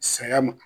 Saya ma